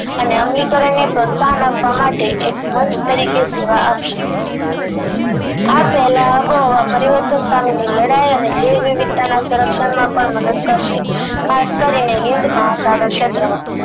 અને અમલી કરન ને પ્રોત્સાહન આપવા માટે એક મંચ તરીકે સેવા આપશે આ પહેલા આબોહવા પરિવર્તન સામેની લડાઈ અને જેવ વિવિધતા ના સરક્ષણ માં પણ મદદ કરશે અને હિન્દ મહાસાગર ક્ષેત્રો માં